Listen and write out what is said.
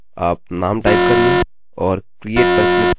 आप नाम टाइप करिये और create पर क्लिक करिये